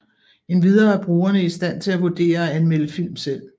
Endvidere er brugerne i stand til at vurdere og anmelde film selv